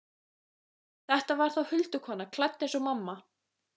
Þetta var þá huldukona, klædd eins og mamma.